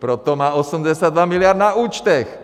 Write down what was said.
Proto má 82 miliard na účtech!